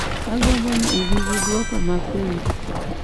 Agombo ni ibi gi duoko ma penjo